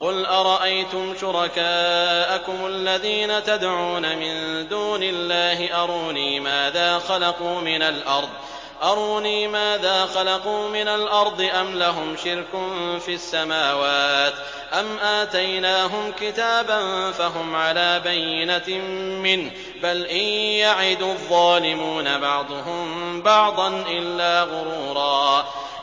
قُلْ أَرَأَيْتُمْ شُرَكَاءَكُمُ الَّذِينَ تَدْعُونَ مِن دُونِ اللَّهِ أَرُونِي مَاذَا خَلَقُوا مِنَ الْأَرْضِ أَمْ لَهُمْ شِرْكٌ فِي السَّمَاوَاتِ أَمْ آتَيْنَاهُمْ كِتَابًا فَهُمْ عَلَىٰ بَيِّنَتٍ مِّنْهُ ۚ بَلْ إِن يَعِدُ الظَّالِمُونَ بَعْضُهُم بَعْضًا إِلَّا غُرُورًا